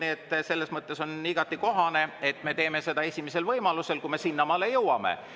Nii et selles mõttes on igati kohane, et me teeme seda esimesel võimalusel, kui me sinnamaale jõuame.